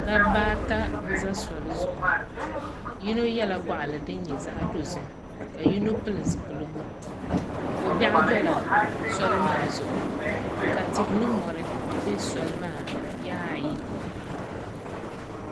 Dabba ata n ʒɛ soli zuɣu yino yɛla goɣali din nyɛ zaɣ dozim ka yino pili zipiligu ko biɛɣu dila soli maa zuɣu ka tihi ni mori bɛ soli maa yaɣa ayi